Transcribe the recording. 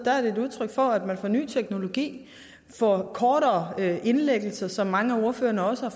er et udtryk for at man får en ny teknologi og kortere indlæggelser som mange af ordførerne også